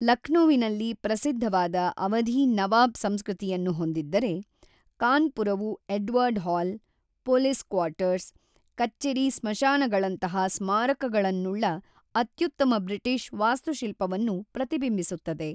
ಲಕ್ನೋವಿನಲ್ಲಿ ಪ್ರಸಿದ್ಧವಾದ ಅವಧೀ ನವಾಬ್ ಸಂಸ್ಕೃತಿಯನ್ನು ಹೊಂದಿದ್ದರೆ, ಕಾನ್ಪುರವು ಎಡ್ವರ್ಡ್ ಹಾಲ್, ಪೊಲೀಸ್ ಕ್ವಾರ್ಟರ್ಸ್, ಕಚ್ಚೆರಿ ಸ್ಮಶಾನಗಳಂತಹ ಸ್ಮಾರಕಗಳನ್ನುಳ್ಳ ಅತ್ಯುತ್ತಮ ಬ್ರಿಟಿಷ್ ವಾಸ್ತುಶಿಲ್ಪವನ್ನು ಪ್ರತಿಬಿಂಬಿಸುತ್ತದೆ.